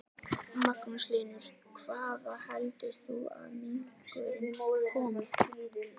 Magnús Hlynur: Hvaða heldur þú að minkurinn komi?